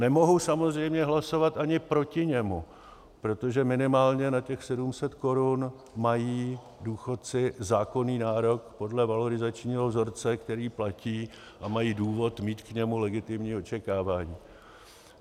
Nemohu samozřejmě hlasovat ani proti němu, protože minimálně na těch 700 korun mají důchodci zákonný nárok podle valorizačního vzorce, který platí, a mají důvod mít k němu legitimní očekávání.